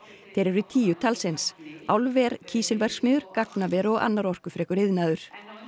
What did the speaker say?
þeir eru tíu talsins álver kísilverksmiðjur gagnaver og annar orkufrekur iðnaður